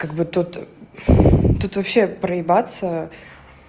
как бы тот тут вообще проебаться